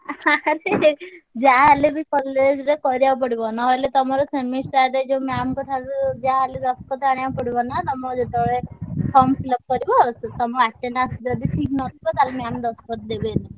ଆରେ ଯାହା ହେଲେବି college ରେ କରିଆକୁ ପଡିବ। ନହେଲେ ତମର semester ରେ ଯୋଉ ma'am ଙ୍କ ଠାରୁ ଯାହା ହେଲେ ଦସ୍ତଖତ ଆଣିଆକୁ ପଡିବ ନା ତମର ଯେତବେଳେ form fill up କରିବ ସେ ତମ attendance ଯଦି ଠିକ୍ ନଥିବ ତାହେଲେ ma'am ଦସ୍ତଖତ ଦେବେନି।